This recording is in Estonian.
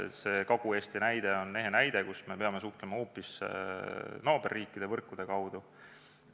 See Kagu-Eesti näide on ehe näide sellest, kuidas me peame suhtlema hoopis naaberriikide võrkude kaudu.